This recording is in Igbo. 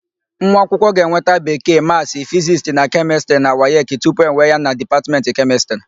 Nwaakwụkwọ ga-enweta Bekee, Maasị, Fizisti na Kemịstịrị na wayeki tupu ewee ya na Dipatmentị Kemịstịrị.